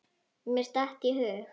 Mér datt í hug.